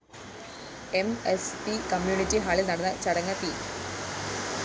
M S P community ഹാളില്‍ നടന്ന ചടങ്ങ് പി